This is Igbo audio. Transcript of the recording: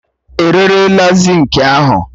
E rerela zinki ahụ